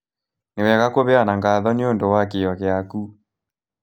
Nĩ wega kũheana ngatho nĩ ũndũ wa kĩyo gĩaku.